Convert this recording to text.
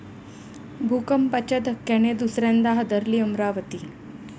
भूकंपाच्या धक्क्याने दुसऱ्यांदा हादरली अमरावती